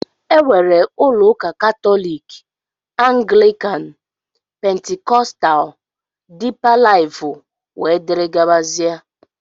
Enwere ụlọ ụka katólik, anglikan, pentikóstal, dipa lifú wdg.